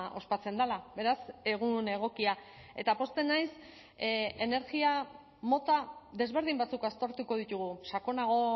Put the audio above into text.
ospatzen dela beraz egun egokia eta pozten naiz energia mota desberdin batzuk aztertuko ditugu sakonago